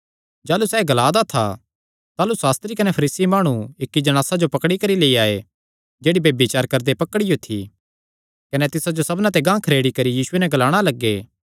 जाह़लू सैह़ एह़ ग्लादा था ताह़लू सास्त्री कने फरीसी माणु इक्की जणासा जो पकड़ी करी लेई आये जेह्ड़ी ब्यभिचार करदे पकड़ियो थी कने तिसा जो सबना ते गांह खरेड़ी करी यीशुये नैं ग्लाणा लग्गे